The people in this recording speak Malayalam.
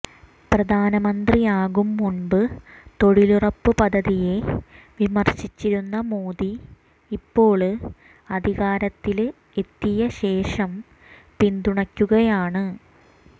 പ്രധാനമന്ത്രിയാകും മുമ്പ് തൊഴിലുറപ്പ് പദ്ധതിയെ വിമര്ശിച്ചിരുന്ന മോദി ഇപ്പോള് അധികാരത്തില് എത്തിയശേഷം പിന്തുണയ്ക്കുകയാണ്